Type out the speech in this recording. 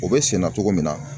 O bɛ senna cogo min na